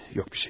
Heç nə yoxdur.